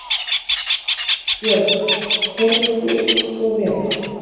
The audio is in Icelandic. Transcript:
Björg: Telur þú svo vera?